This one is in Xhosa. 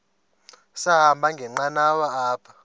sahamba ngenqanawa apha